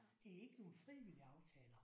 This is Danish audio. Det er ikke nogle frivillige aftaler